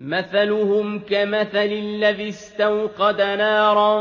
مَثَلُهُمْ كَمَثَلِ الَّذِي اسْتَوْقَدَ نَارًا